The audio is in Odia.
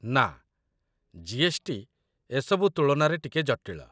ନା, ଜି.ଏସ୍.ଟି. ଏସବୁ ତୁଳନାରେ ଟିକେ ଜଟିଳ